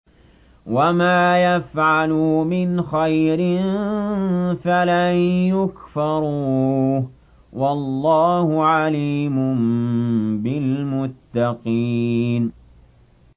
وَمَا يَفْعَلُوا مِنْ خَيْرٍ فَلَن يُكْفَرُوهُ ۗ وَاللَّهُ عَلِيمٌ بِالْمُتَّقِينَ